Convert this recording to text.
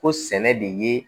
Ko sɛnɛ de ye